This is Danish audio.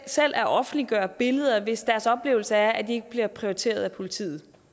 selv at offentliggøre billeder hvis deres oplevelse er at de ikke bliver prioriteret af politiet